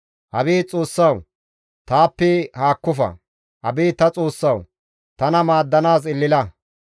Abeet Xoossawu! Taappe haakkofa. Abeet ta Xoossawu! Tana maaddanaas elela.